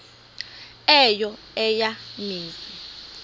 eyo eya mizi